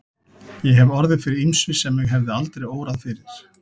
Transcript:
Ég hef orðið fyrir ýmsu sem mig hefði aldrei órað fyrir.